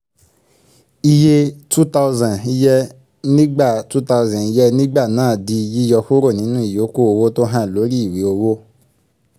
iye two thousand yẹ nígbà two thousand yẹ nígbà náà di yíyọkurọ̀ nínú ìyókù owó tó hàn lórí ìwé owó